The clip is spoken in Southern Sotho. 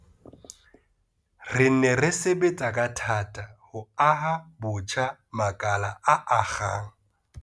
Re ne re sebetsa ka thata ho aha botjha makala a akgang.